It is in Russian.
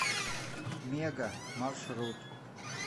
мега маршрут